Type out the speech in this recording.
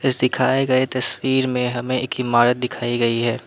इस दिखाए गए तस्वीर में हमें एक इमारत दिखाई गई है।